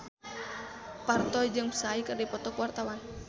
Parto jeung Psy keur dipoto ku wartawan